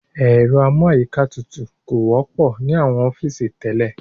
Ẹ̀rọ amú àyíká tutù kò wọ́pọ̀ ní àwọn ọ́fìsì tẹ́lẹ̀.